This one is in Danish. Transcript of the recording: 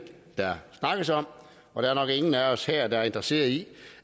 der snakkes om og der er nok ingen af os her være interesseret i